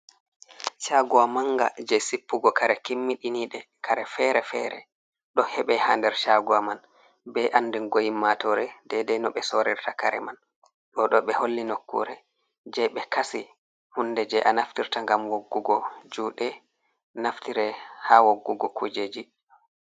Cagowa manga je sippugo kare kimmiɗinid, kare fere fere ɗo heɓe ha nder cagowa be andugo ɓi ƴummatore dede no ɓe sorirta kare man, ɗoɗo ɓe holli nokkure je ɓe kasi hunde je a naftirta ngam woggugo juɗe, naftire ha woggugo kujeji.